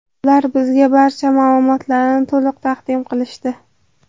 Ular bizga barcha ma’lumotlarni to‘liq taqdim qilishdi.